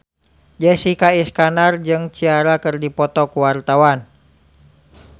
Jessica Iskandar jeung Ciara keur dipoto ku wartawan